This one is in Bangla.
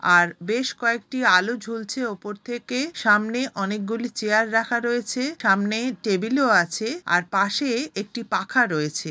আর বেশ কয়েকটি আলো ঝুলছে উপর থেকে সামনে অনেক গুলি চেয়ার রাখা রয়েছে সামনে টেবিল ও আছে আর পাশে-এ একটি পাখা রয়েছে।